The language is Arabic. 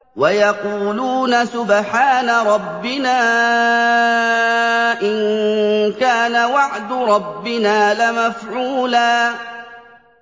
وَيَقُولُونَ سُبْحَانَ رَبِّنَا إِن كَانَ وَعْدُ رَبِّنَا لَمَفْعُولًا